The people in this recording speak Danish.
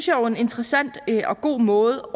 jo er en interessant og god måde